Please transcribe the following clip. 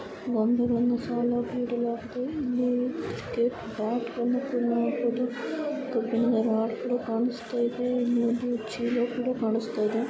ಬೊಂಬೆಗಳನ್ನು ಸಾಲಾಗಿ ಇಡಲಾಗಿದೆ. ಇಲ್ಲಿ ಬ್ಯಾಟ್ ನ್ನು ಕೂಡ ನೋಡ್ಬಹುದು. ಕಬ್ಬಿಣದ ರಾಡ್ ಕೂಡ ಕಣ್ಣಿಸುತ್ತಾ ಇದೆ. ಇಲ್ಲೊಂದು ಚೀಲ ಕೂಡ ಕಣ್ಣಿಸುತ್ತಾ ಇದೆ. .